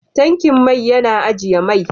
Tankin mai ya na ajian man.